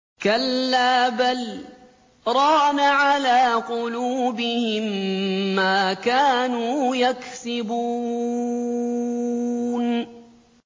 كَلَّا ۖ بَلْ ۜ رَانَ عَلَىٰ قُلُوبِهِم مَّا كَانُوا يَكْسِبُونَ